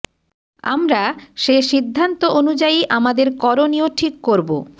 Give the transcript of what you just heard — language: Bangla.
আমরা সে সিদ্ধান্ত অনুযায়ী আমাদের করণীয় ঠিক করব